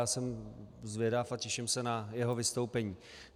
Já jsem zvědav a těším se na jeho vystoupení.